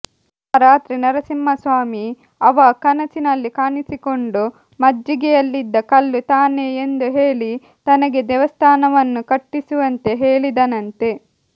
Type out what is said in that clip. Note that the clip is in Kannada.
ಆ ರಾತ್ರಿ ನರಸಿಂಹಸ್ವಾಮಿ ಅವ ಕನಸಿನಲ್ಲಿ ಕಾಣಿಸಿಕೊಂಡು ಮಜ್ಜಿಗೆಯಲ್ಲಿದ್ದ ಕಲ್ಲು ತಾನೇ ಎಂದು ಹೇಳಿ ತನಗೆ ದೇವಸ್ಥಾನವನ್ನು ಕಟ್ಟಿಸುವಂತೆ ಹೇಳಿದನಂತೆ